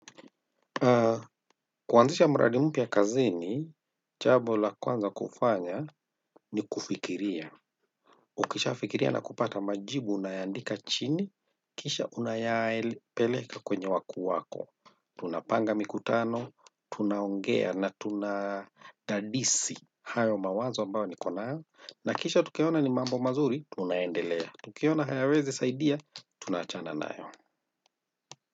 Kuanzisha muradi mpya kazini jambo la kwanza kufanya ni kufikiria ukishafikiria na kupata majibu unayaandika chini, kisha unayapeleka kwenye wakuu wako. Tunapanga mikutano, tunaongea na tunadadisi hayo mawazo ambayo niko nayo. Na kisha tukiona ni mambo mazuri, tunaendelea. Tukiona hayawezi saidia, tunawachana nayo.